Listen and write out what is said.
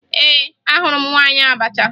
Ee, ahụrụ m nwaanyị abacha